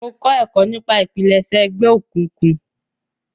Mo kọ ẹkọ nipa ipilẹṣẹ ẹgbẹ okuynkun.